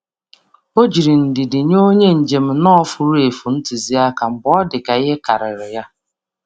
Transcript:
Ọ jiri ndidi nye onye njem nọ furu efu ntụzịaka mgbe ọ ntụzịaka mgbe ọ dị ka ihe karịrị ya.